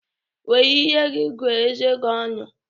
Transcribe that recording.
Were ire gi gụọ eze gi ọnụ!